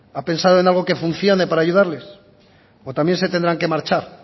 ha pensado en algo que funcione para ayudarles o también se tendrán que marchar